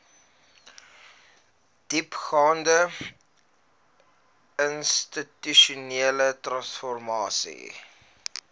diepgaande institusionele transformasie